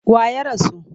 Wa ya rasu?